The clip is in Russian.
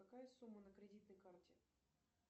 какая сумма на кредитной карте